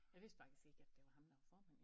Jeg vidste faktisk ikke at det var ham der var formand